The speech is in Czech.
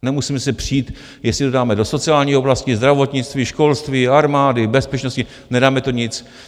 Nemusíme se přít, jestli to dáme do sociální oblasti, zdravotnictví, školství, armády, bezpečnosti, nedáme to nic.